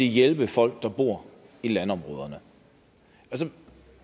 hjælpe folk der bor i landområderne